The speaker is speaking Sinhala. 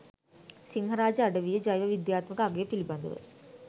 සිංහරාජ අඩවියේ ජෛව විද්‍යාත්මක අගය පිළිබඳව